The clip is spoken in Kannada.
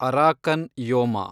Arakan Yoma